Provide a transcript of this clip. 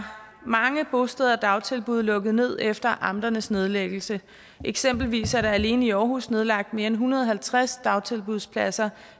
at mange bosteder og dagtilbud er lukket ned efter amternes nedlæggelse eksempelvis er der alene i aarhus nedlagt mere end en hundrede og halvtreds dagtilbudspladser